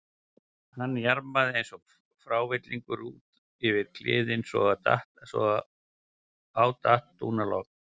Hann jarmaði eins og frávillingur út yfir kliðinn svo á datt dúnalogn.